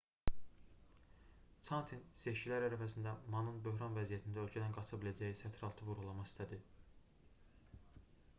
çantin seçkilər ərəfəsində manın böhran vəziyyətində ölkədən qaça biləcəyini sətiraltı vurğulamaq istədi